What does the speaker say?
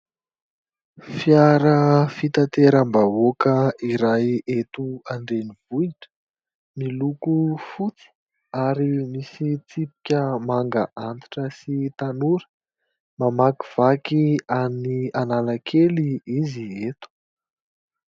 Fiara fitateram-bahoaka iray eto an-drenivohitra miloko fotsy ary misy tsipika manga antitra sy tanora, mamakivaky an'i Analakely izy eto.